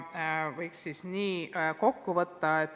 Selle võiks kokku võtta nii.